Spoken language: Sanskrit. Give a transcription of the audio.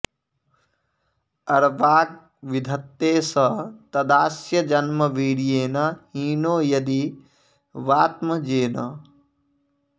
अर्वाग्विधत्ते स तदास्य जन्म वीर्येण हीनो यदि वात्मजेन